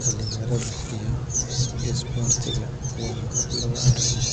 Dhallinyarada iyo isboortigu waa laba arrimood